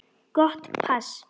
Gott pass.